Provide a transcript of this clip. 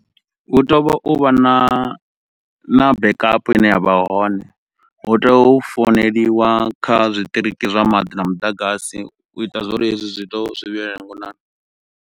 Hu tea uto vha na na backup ine ya vha hone, hu tea u founeliwa kha zwiṱiriki zwa maḓi na muḓagasi u ita zwori hezwi zwi to zwi vhuyelele ngonani.